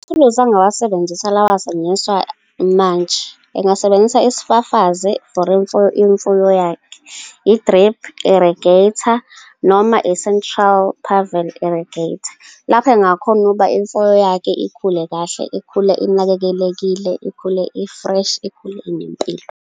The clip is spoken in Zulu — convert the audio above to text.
Amathuluzi angawasebenzisa ilawa asetshenziswa manje. Engasebenzisa isifafazi for imfuyo yakhe, i-drip irrigator, noma i-central, pivot irrigator, lapho engakhona ukuba imfuyo yakhe ikhule kahle, ikhule inganakekelekile, ikhule i-fresh, ikhule inempilo.